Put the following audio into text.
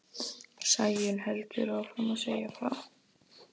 Sæunn heldur áfram að segja frá.